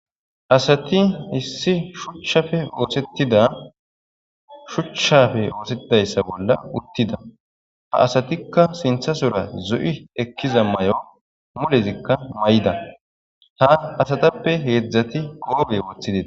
Asati issi shuchchafe oosettida shuchchafe oosetidayssa bolla uttida ha asatikka sintha sora zo'i ekkiza may'o mulezikka may:ida ha asatappe heedzdzati goobe wothidee.